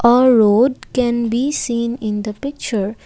a road can be seen in the picture.